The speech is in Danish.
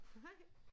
Hej